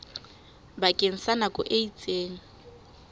bakeng sa nako e itseng